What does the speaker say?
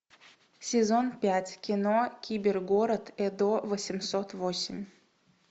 сезон пять кино кибергород эдо восемьсот восемь